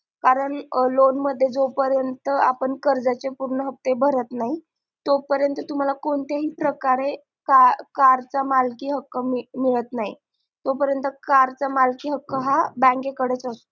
कारण loan मध्ये जोपरेंत आपण कर्जाचे पूर्ण हफ्ते भारत नाहीत तो परेंत तुम्हाला कोणत्या हि प्रकारे कारचा मालकी हक्क मिळत नाही तो परेंत कारचा हा हक्क bank कडे राहतो